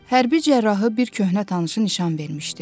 Hərbi cərrahı bir köhnə tanışı nişan vermişdi.